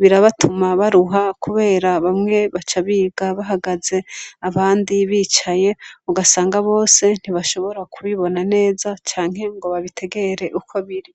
birabatuma baruha kubera bamwe baca biga bahagaze abandi bicaye ugasanga bose ntibashobora kubibona neza canke ngo babitegere uko biri.